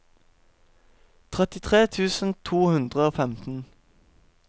trettitre tusen to hundre og femten